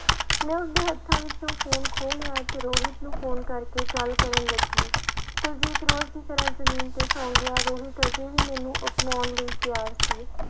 ਮੈਂ ਉਸਦੇ ਹੱਥਾਂ ਵਿੱਚੋਂ ਫ਼ੋਨ ਖੋਹ ਲਿਆ ਤੇ ਰੋਹਿਤ ਨੂੰ ਫ਼ੋਨ ਕਰਕੇ ਗੱਲ ਕਰਨ ਲੱਗੀ ਕੁਲਜੀਤ ਰੋਜ਼ ਦੀ ਤਰ੍ਹਾਂ ਜ਼ਮੀਨ ਤੇ ਸੌਂ ਗਿਆ, ਰੋਹਿਤ ਹਜੇ ਵੀ ਮੈਨੂੰ ਅਪਨਾਉਣ ਲਈ ਤਿਆਰ ਸੀ।